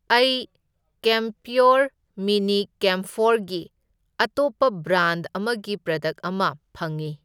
ꯑꯩ camphor mini ꯀꯦꯝꯐꯣꯔꯒꯤ ꯑꯇꯣꯞꯄ ꯕ꯭ꯔꯥꯟꯗ ꯑꯃꯒꯤ ꯄ꯭ꯔꯗꯛ ꯑꯃ ꯐꯪꯢ꯫